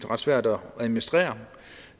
ret svært at administrere og